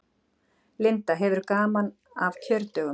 Linda: Hefurðu gaman af kjördögum?